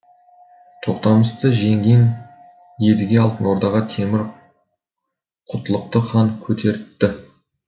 тоқтамысты жеңген едіге алтын ордаға темір құтлықты хан көтертті